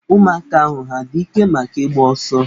Ụmụaka ahụ ha adị ike maka ịgba ọso?